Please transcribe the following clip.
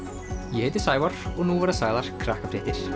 ég heiti Sævar og nú verða sagðar Krakkafréttir það